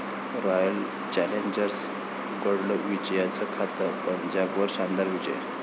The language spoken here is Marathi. राॅयल चॅलेंजर्सनं उघडलं विजयाचं खातं, पंजाबवर शानदार विजय